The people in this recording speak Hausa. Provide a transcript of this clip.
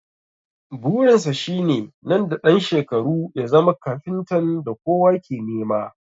Burin sa shine nan da ɗan shekaru ya zama kafintan da kowa ke nema